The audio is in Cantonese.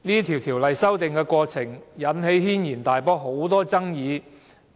《條例》修訂過程引起軒然大波，爭議甚多。